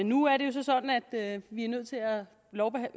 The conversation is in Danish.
nu er det så sådan at vi er nødt til at